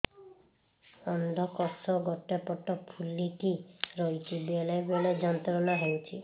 ଅଣ୍ଡକୋଷ ଗୋଟେ ପଟ ଫୁଲିକି ରହଛି ବେଳେ ବେଳେ ଯନ୍ତ୍ରଣା ହେଉଛି